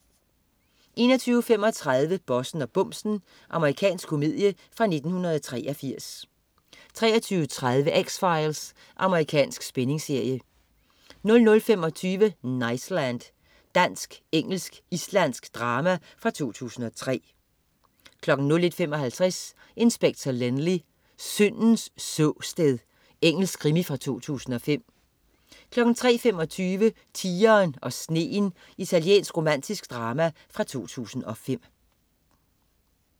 21.35 Bossen og bumsen. Amerikansk komedie fra 1983 23.30 X-Files. Amerikansk spændingsserie 00.25 Niceland. Dansk-engelsk-islandsk drama fra 2003 01.55 Inspector Lynley: Syndens såsted. Engelsk krimi fra 2005 03.25 Tigeren og sneen. Italiensk romantisk drama fra 2005